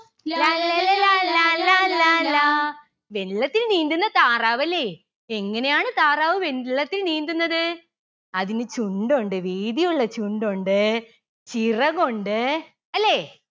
ലാല്ലല ലാലാ ലാലാ ലാ. വെള്ളത്തിൽ നീന്തുന്ന താറാവല്ലേ എങ്ങനെയാണ് താറാവ് വെള്ളത്തിൽ നീന്തുന്നന്ത് അതിന് ചുണ്ടുണ്ട് വീതിയുള്ള ചുണ്ടുണ്ട് ചിറകുണ്ട് അല്ലേ